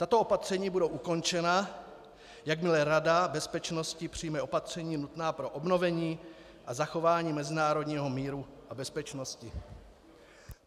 Tato opatření budou ukončena, jakmile Rada bezpečnosti přijme opatření nutná pro obnovení a zachování mezinárodního míru a bezpečnosti.